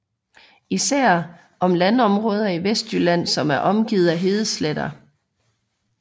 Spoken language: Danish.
Især om landområder i Vestjylland som er omgivet af hedesletter